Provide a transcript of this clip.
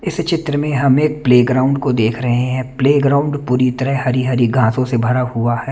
इस चित्र में हमें प्लेग्राउंड को देख रहे हैं प्लेग्राउंड पूरी तरह हरि हरि घासो से भरा हुआ है।